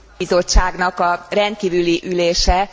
a Bizottságnak a rendkívüli ülése.